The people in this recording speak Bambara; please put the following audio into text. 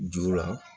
Juru la